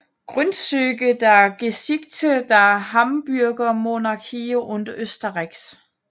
Grundzüge der Geschichte der Habsburgermonarchie und Österreichs